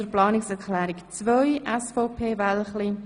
Sie haben Planungserklärung 2 angenommen.